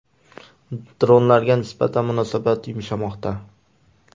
Dronlarga nisbatan munosabat yumshamoqda.